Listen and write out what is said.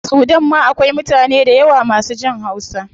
A sudan ma akwai mutane dayawa masu jin hausa